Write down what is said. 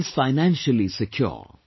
He feels financially secure